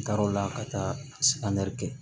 N taara o la ka taa kɛ